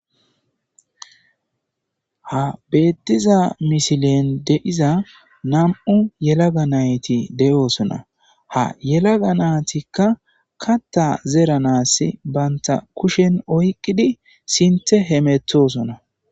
ha beettiza misilen de7iza nam7u yelaga nayti de7oosona ha yelaga naatikka katta zeranasi banta kushen oyqqidi sinthe hemeththosona.